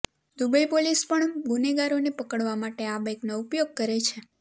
Dubai police પણ ગુનેગારોને પકડવા માટે આ બાઈકનો ઉપયોગ કરે છે